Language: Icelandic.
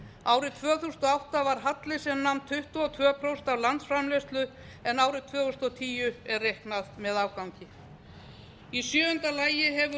árið tvö þúsund og átta var halli sem nam tuttugu og tvö prósent af landsframleiðslu en árið tvö þúsund og tíu er reiknað með afgangi í sjöunda lagi hefur